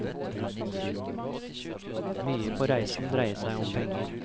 Mye på reisen dreier seg om penger.